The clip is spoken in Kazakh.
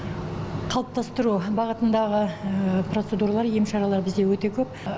қалыптастыру бағытындағы процедуралар ем шаралар бізде өте көп